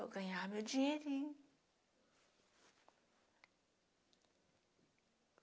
Eu ganhava meu dinheirinho.